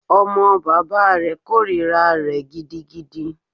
Ọmọ bàbá rẹ̀ kòrira rẹ̀ gidigidi.